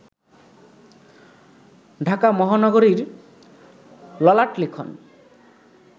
ঢাকা মহানগরীর ললাটলিখন